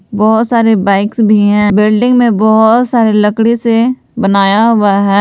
बहुत सारे बाइक्स भी हैं बिल्डिंग में बहुत सारे लकड़ी से बनाया हुआ है।